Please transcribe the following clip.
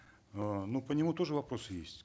э ну по нему тоже вопросы есть